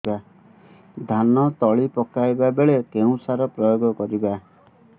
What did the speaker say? ଧାନ ତଳି ପକାଇବା ବେଳେ କେଉଁ ସାର ପ୍ରୟୋଗ କରିବା